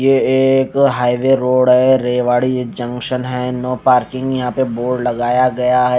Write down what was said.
ये एक highway road है रेवाड़ी जंक्शन है नो पार्किंग यहा पे बोर्ड लगाया गया है ।